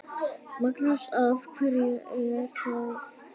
Magnús: Af hverju er það?